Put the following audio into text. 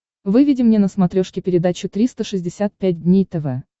выведи мне на смотрешке передачу триста шестьдесят пять дней тв